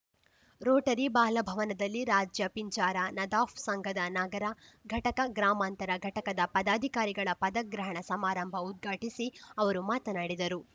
Rotary ಬಾಲಭವನದಲ್ಲಿ ರಾಜ್ಯ ಪಿಂಜಾರ ನದಾಫ್‌ ಸಂಘದ ನಗರ ಘಟಕ ಗ್ರಾಮಾಂತರ ಘಟಕದ ಪದಾಧಿಕಾರಿಗಳ ಪದಗ್ರಹಣ ಸಮಾರಂಭ ಉದ್ಘಾಟಿಸಿ ಅವರು ಮಾತನಾಡಿದರು